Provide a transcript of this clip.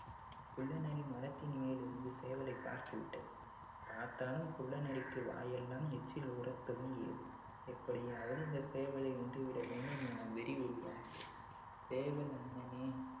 குள்ளநரி மரத்தின் மேல் இருந்து சேவலை பார்த்து விட்டது பார்த்தாலும் குள்ள நரிக்கு வாயெல்லாம் எச்சில் ஊற துவங்கியது எப்படியாவது இந்த சேவலை உண்டு விட வேண்டும் என வெறி உருவானது சேவல் நண்பனே